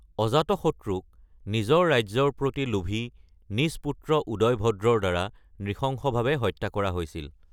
অজতশত্ৰুক নিজৰ ৰাজ্যৰ প্ৰতি লোভী নিজ পুত্ৰ উদয়ভদ্ৰৰ দ্বাৰা নৃশংসভাৱে হত্যা কৰা হৈছিল।